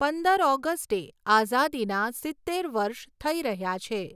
પદંર ઓગસ્ટે આઝાદીના સિત્તેર વર્ષ થઈ રહ્યા છે.